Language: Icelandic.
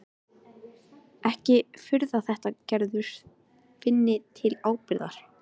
Ekki að furða þótt Gerður finni til ábyrgðar.